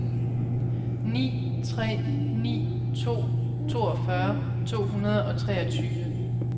ni tre ni to toogfyrre to hundrede og treogtyve